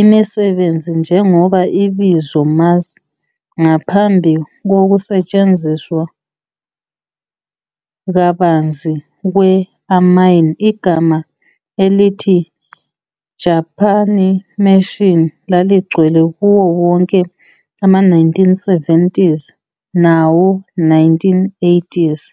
imisebenzi njengoba ibizo mass. Ngaphambi kokusetshenziswa kabanzi kwe- "anime", igama elithi "Japanimation" laligcwele kuwo wonke ama-1970 nawo-1980.